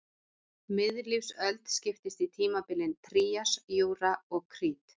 Miðlífsöld skiptist í tímabilin trías, júra og krít.